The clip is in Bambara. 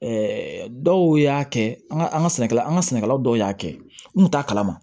dɔw y'a kɛ an ka an ka sɛnɛkɛlaw an ka sɛnɛkɛlaw dɔw y'a kɛ n kun t'a kalama